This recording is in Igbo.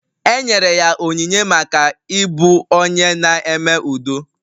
E nyere ya onyinye maka ịbụ onye na-eme udo